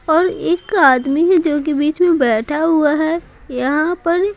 और एक आदमी है जो कि बीच में बैठा हुआ है यहां पर।